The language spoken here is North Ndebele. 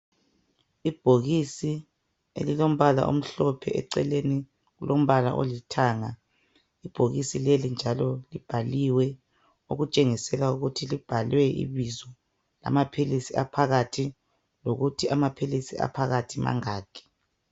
Ibhokisi elilombala omhlophe leceleni lilombala olithanga ibhokisi leli njalo libhaliwe okutshengisela ukuthi libhalwe ibizo amaphilisi aphakathi lokuthi amaphilisi aphakathi mangaki.